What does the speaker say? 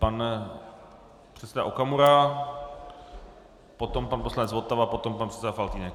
Pan předseda Okamura, potom pan poslanec Votava, potom pan předseda Faltýnek.